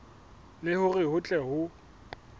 le hore ho tle ho